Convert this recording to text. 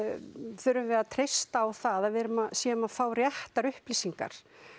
þurfum við að treysta á það að við séum að fá réttar upplýsingar